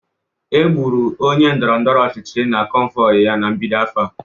Egburu onye ndọrọ ndọrọ ọchịchị na convoy ya na mbido afọ a